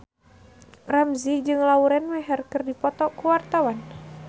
Ramzy jeung Lauren Maher keur dipoto ku wartawan